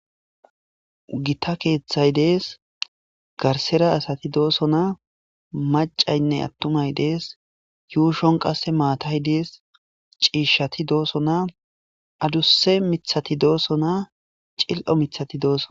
Gita keeththay dees garsera asati doosonaa macaynne attumay dees yuushon qasse maatay dees ciishshati doosona adusse miiththati doosona cil'o miiththati doosona